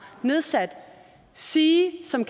nedsat sige som